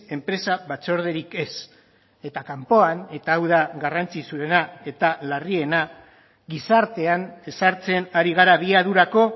enpresa batzorderik ez eta kanpoan eta hau da garrantzitsuena eta larriena gizartean ezartzen ari gara abiadurako